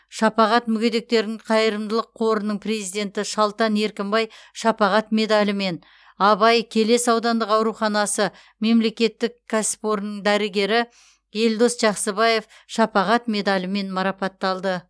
шапағат мүгедектердің қайырымдылық қорының президенті шалтан еркінбай шапағат медалімен абай келес аудандық ауруханасы мемлекеттік кәсіпорны дәрігері елдос жақсыбаев шапағат медалімен марапатталды